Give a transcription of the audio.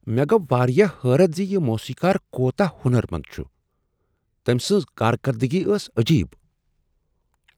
مےٚ گو واریا حیرت زِ یہِ موسیقار کوتاہ ہنر مند چھ۔ تٔمۍ سنٛز کار کردگی ٲس عجب ۔